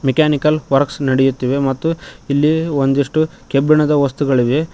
Mechanical works ನಡೆಯುತ್ತಿದೆ ಮತ್ತು ಇಲ್ಲಿ ಒಂದಿಷ್ಟು ಕಬ್ಬಿಣದ ವಸ್ತುಗಳಿವೆ.